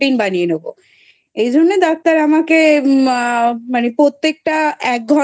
Protein বানিয়ে নেবো । এই জন্য Doctor আমাকে মানে প্রত্যেকটা এক ঘন্টা